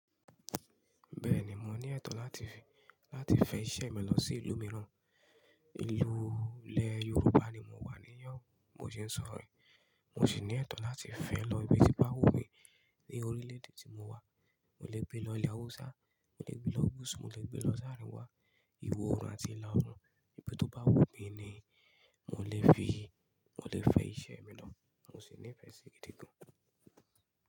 Bẹ́ẹ̀ni, mo ní ẹ̀tọ́ láti fi, láti fẹ iṣẹ́ mi lọ sí ìlú mìíràn, ìlú ilẹ̀ Yorùbá ni mo wà níyàn, mo sì ń sọ̀rọ̀ rẹ̀. Mo sì ní ẹ̀tọ́ láti fẹ lọ ibi tí bá wù mí ní orílẹ̀ èdè tí mo wà. Mo lè gbé lọ ilẹ̀ Hausa, mo lè gbé lọ Gus, mo lè gbé lọ Záríwá, Ìwó òrun àti Ìlú òrun, ibi tó bá wù mí ni mo lè fi, mo lè fẹ iṣẹ́ mi lọ. Mo sì ní ìfẹ sí gidi gan.